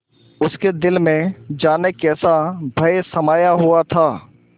उसके दिल में जाने कैसा भय समाया हुआ था